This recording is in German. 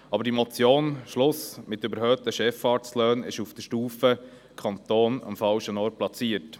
Aber die Motion «Schluss mit überhöhten Chefarztlöhnen!» ist auf der Stufe Kanton am falschen Ort platziert.